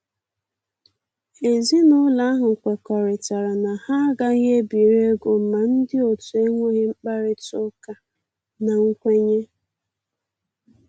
Ezinúlọ̀ ahụ̀ kwekọrịtara na ha agàghị ebiri égò ma ndị otu ènwèghị mkpárịtà ụ́kà na nkwènyé